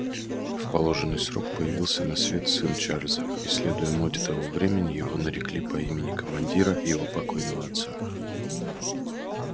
в положенный срок появился на свет сын чарлза и следуя моде того времени его нарекли по имени командира его покойного отца